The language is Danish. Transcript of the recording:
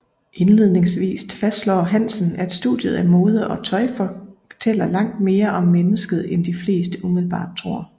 Indledningsvist fastslår Hansen at studiet af mode og tøj fortæller langt mere om mennesket end de fleste umiddelbart tror